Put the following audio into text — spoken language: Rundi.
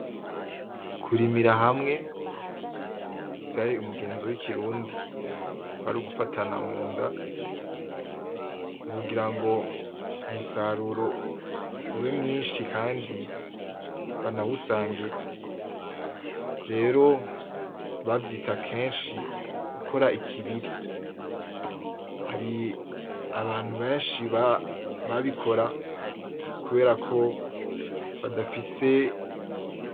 Kurimira hamwe vyari umugenzo w'ikirundi kwari ugufatana munda, mukugira ngo umusaruro ube mwinshi kandi banawusangire, rero bavyita akenshi gukora ikibiri, hari abantu benshi babikora kubera ko badafise